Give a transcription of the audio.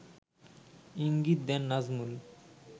ইঙ্গিত দেন নাজমুল